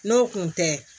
N'o kun tɛ